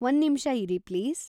ಒಂದ್ನಿಮಿಷ ಇರಿ ಪ್ಲೀಸ್.